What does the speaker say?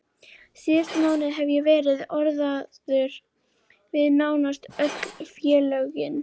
Síðustu mánuði hef ég verið orðaður við nánast öll félögin á landinu.